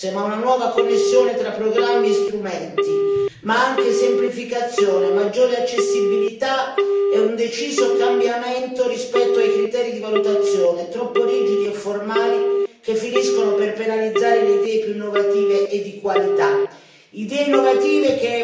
Quindi non solo più risorse, ma una nuova connessione tra programmi e strumenti, ma anche semplificazione, maggiore accessibilità e un deciso cambiamento rispetto a criteri di valutazione troppo rigidi e formali, che finiscono per penalizzare le idee più innovative e di qualità.